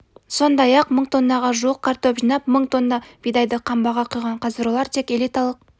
сондай-ақ мың тоннаға жуық картоп жинап мың тонна бидайды қамбаға құйған қазір олар тек элиталық